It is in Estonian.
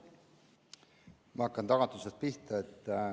Ma hakkan tagant otsast pihta.